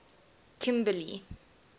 kimberly